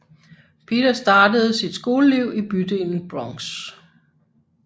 Peter startede sit skoleliv i bydelen Bronx